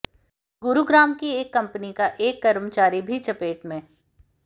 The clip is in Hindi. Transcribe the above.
गुरुग्राम की एक कंपनी का एक कर्मचारी भी चपेट में